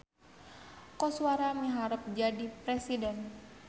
Koswara miharep jadi presiden